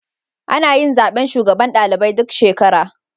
Anayin zaben shugaban ɗalibai duk shekara